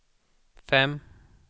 fem